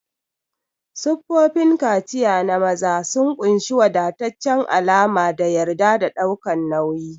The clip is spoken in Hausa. Siffofin kaciya na maza sun ƙunshi wadataccen alama da yarda da ɗaukan nauyi.